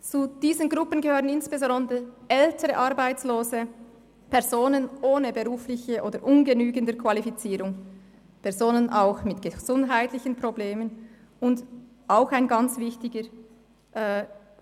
Zu diesen Gruppen gehören insbesondere ältere Arbeitslose, Personen ohne berufliche oder ungenügende Qualifizierung, Personen auch mit gesundheitlichen Problemen und – auch ein wichtiger